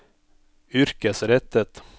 yrkesrettet